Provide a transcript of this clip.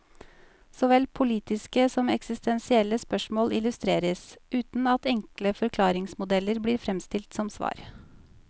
Såvel politiske som eksistensielle spørsmål illustreres, uten at enkle forklaringsmodeller blir fremstilt som svar.